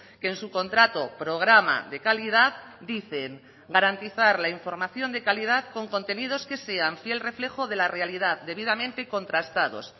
que en su contrato programa de calidad dicen garantizar la información de calidad con contenidos que sean fiel reflejo de la realidad debidamente contrastados